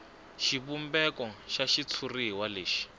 xivumbeko xa xitshuriwa lexi